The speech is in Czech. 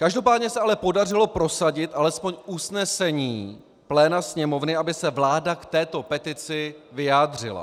Každopádně se ale podařilo prosadit alespoň usnesení pléna Sněmovny, aby se vláda k této petici vyjádřila.